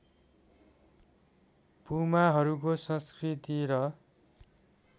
पुमाहरूको संस्कृति र